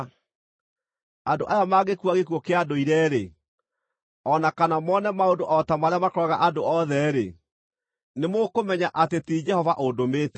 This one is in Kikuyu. Andũ aya mangĩkua gĩkuũ kĩa ndũire-rĩ, o na kana mone maũndũ o ta marĩa makoraga andũ othe-rĩ, nĩmũkũmenya atĩ ti Jehova ũndũmĩte.